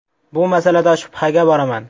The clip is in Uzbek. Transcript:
Bu masalada shubhaga boraman.